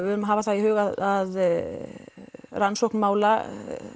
verðum að hafa það í huga að rannsókn mála